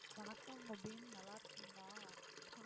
வணக்கம் முபீன் நல்லா இருக்கீங்களா